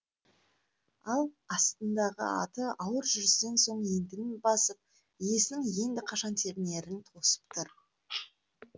ал астындағы аты ауыр жүрістен соң ентігін басып иесінің енді қашан тебінерін тосып тұр